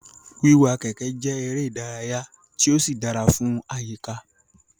Wiawa keke je eré ìdárayá ti o si dara fun ayika